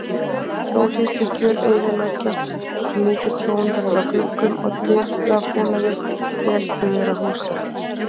Hjólhýsi gjöreyðileggjast og mikið tjón verður á gluggum og dyrabúnaði vel byggðra húsa.